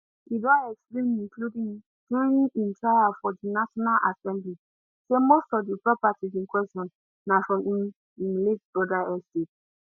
e don explain including during im trial for di national assembly say most of di properties in question na from im im late brother estate